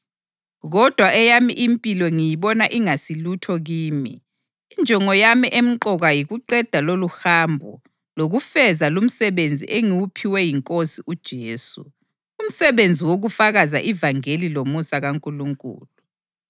Kodwa eyami impilo ngiyibona ingasilutho kimi, injongo yami emqoka yikuqeda loluhambo lokufeza lumsebenzi engiwuphiwe yiNkosi uJesu, umsebenzi wokufakaza ivangeli lomusa kaNkulunkulu.